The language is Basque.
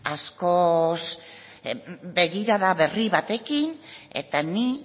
askoz begirada berri batekin eta ni